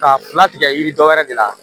K'a latigɛ yiri dɔ wɛrɛ de la